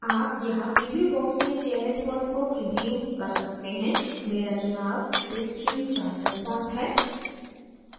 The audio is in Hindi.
आप यहाँ प्रीव्यू box में चयनित font को प्रीव्यू कर सकते हैं मेरा चुनाव bitstream charter font है